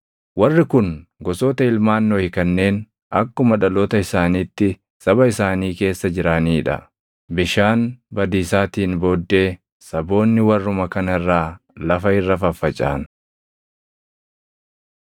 Warri kun gosoota ilmaan Nohi kanneen akkuma dhaloota isaaniitti saba isaanii keessa jiranii dha; bishaan badiisaatiin booddee saboonni warruma kana irraa lafa irra faffacaʼan.